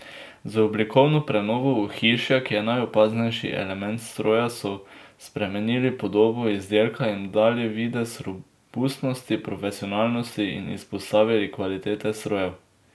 Z oblikovno prenovo ohišja, ki je najopaznejši element stroja, so spremenili podobo izdelkom jim dali videz robustnosti, profesionalnosti in izpostavili kvaliteto strojev.